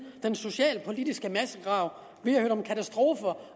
den socialpolitiske massegrav vi har hørt om katastrofer